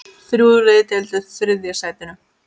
Þrjú lið deildu þriðja sætinu.